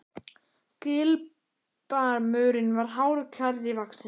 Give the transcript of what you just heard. Gilbarmurinn var hár og kjarri vaxinn.